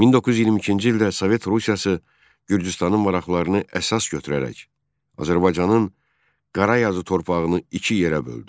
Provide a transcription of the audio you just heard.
1922-ci ildə Sovet Rusiyası Gürcüstanın maraqlarını əsas götürərək Azərbaycanın Qarazyazı torpağını iki yerə böldü.